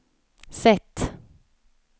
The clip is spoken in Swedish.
sätt